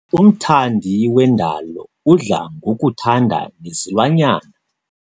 Umthandi wendalo udla ngokuthanda nezilwanyana.